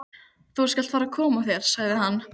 Þú skalt fara að koma þér, sagði hann.